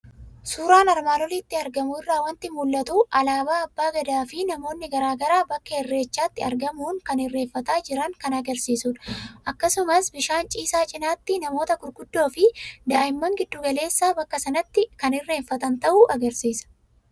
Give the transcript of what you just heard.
Suuraa armaan olitti argamu irraa waanti mul'atu; Alaaba abbaa gadaafi namootni garaagaraa bakka Irreechatti argamuun kan irreeffataa jiran kan agarsiisudha. Akkasumas bishaan ciisaa cinatti namoota gurguddoofi daa'immaan gidduu galeessa bakka sanatti kan irreeffatan ta'uu agarsiisa.